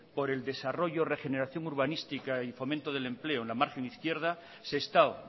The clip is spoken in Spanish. por el desarrollo regeneración urbanística y fomento del empleo en la margen izquierda sestao